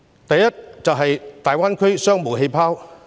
第一階段是大灣區商務氣泡。